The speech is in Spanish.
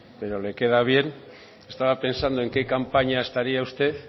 pero le queda bien estaba pensando en qué campaña estaría usted